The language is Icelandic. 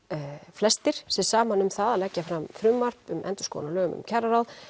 flestir sig saman um að leggja fram frumvarp um endurskoðun á lögum um kjararáð